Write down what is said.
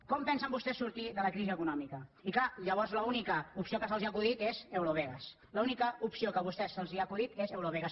com pensen vostès sortir de la crisi econòmica i clar llavors l’única opció que se’ls ha acudit és eurovegas l’única opció que a vostès se’ls ha acudit és eurovegas